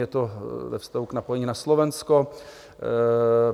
Je to ve vztahu k napojení na Slovensko.